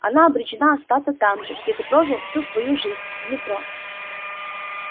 она обречена остаться там же где ты прожил всю свою жизнь в метро